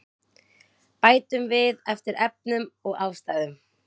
Bætum við eftir efnum og ástæðum